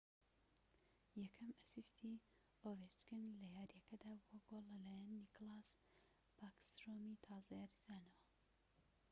یەکەم ئەسیستی ئۆڤێچکن لە یاریەکەدا بووە گۆڵ لەلایەن نیکلاس باکسترۆمی تازە یاریزانەوە